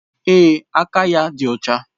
Ee, aka ya dị ọcha